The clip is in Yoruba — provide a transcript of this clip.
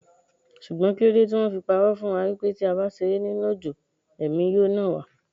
Ṣùgbọ́n kíló de tí wón fi pa'rọ́ fún wa wípé tí a bá ṣeré nínú òjò, Ẹ̀mí yóò nà wá?